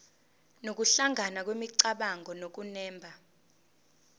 nokuhlangana kwemicabango nokunemba